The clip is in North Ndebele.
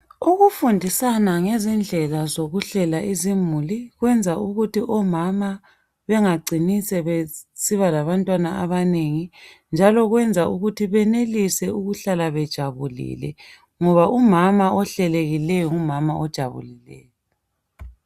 Ukufundisana ngezindlela izimuli kwenza ukuthi omama bengagcini sebesiba labantwana abanengi njalo kwenza ukuthi benelise ukuhlala bejabulile ngoba umama ohlelekileyo nguma ojabulileyo.